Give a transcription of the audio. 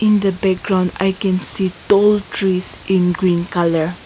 in the background i can see tall trees in green colour.